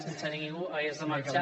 sense que ningú hagués de marxar